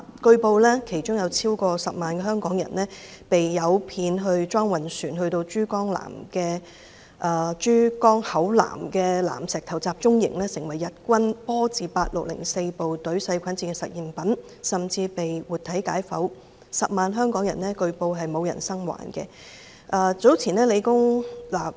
據報，其中有超過10萬名香港人被誘騙到裝運船，被送到珠江口南石頭集中營，成為日軍波字第八六零四部隊細菌戰的實驗品，甚至被活體解剖，據報當中沒有一個人生還。